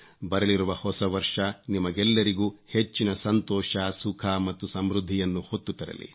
ಬರಲಿರುವ ಹೊಸ ವರ್ಷ ನಿಮಗೆಲ್ಲರಿಗೂ ಹೆಚ್ಚಿನ ಸಂತೋಷ ಸುಖ ಮತ್ತು ಸಮೃದ್ಧಿಯನ್ನು ಹೊತ್ತು ತರಲಿ